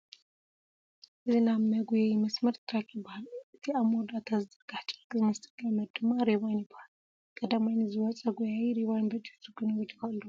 እዚ ናይ መኩየዪ መስመር ትራክ ይበሃል፡፡ እቲ ኣብ መወዳእታ ዝዝርጋሕ ጨርቂ ዝመስል ገመድ ድማ ሪባን ይበሃል፡፡ ቀዳማይ ንዘይወፀ ጐያዪ ሪባን በጢሱ ክንብል ንኽእል ዶ?